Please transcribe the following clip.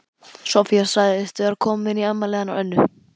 Soffía sagðist vera komin í afmælið hennar Önnu.